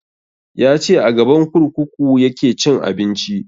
Ya ce a gaban kurkuku ya ke cin abinci